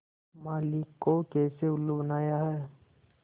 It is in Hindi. माली को कैसे उल्लू बनाया है